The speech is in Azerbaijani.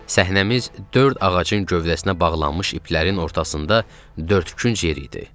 Səhnəmiz dörd ağacın gövdəsinə bağlanmış iplərin ortasında dördkünc yer idi.